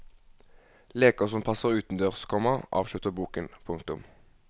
Leker som passer utendørs, komma avslutter boken. punktum